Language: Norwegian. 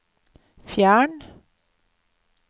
fjern